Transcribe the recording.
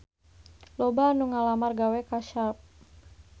Loba anu ngalamar gawe ka Sharp